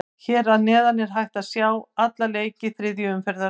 Hér að neðan er hægt að sjá alla leiki þriðju umferðar.